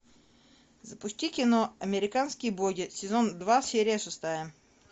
запусти кино американские боги сезон два серия шестая